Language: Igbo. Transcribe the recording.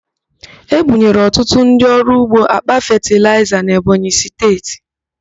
Ebunyere ọtụtụ ndị ọrụ ugbo àkpà fetịlaịza n'Ebonyi Steeti.